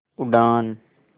उड़ान